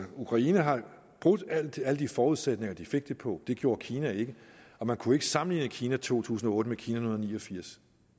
ukraine har altså brudt alle de alle de forudsætninger de fik det på det gjorde kina ikke og man kunne ikke sammenligne kina to tusind og otte med kina nitten ni og firs